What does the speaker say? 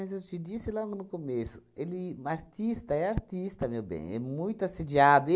eu te disse logo no começo, ele artista é artista, meu bem, é muito assediado.